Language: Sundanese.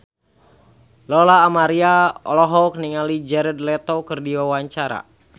Lola Amaria olohok ningali Jared Leto keur diwawancara